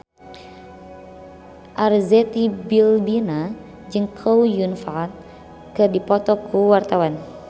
Arzetti Bilbina jeung Chow Yun Fat keur dipoto ku wartawan